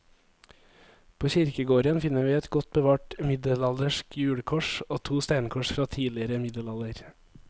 På kirkegården finner vi et godt bevart middelaldersk hjulkors og to steinkors fra tidligere middelalder.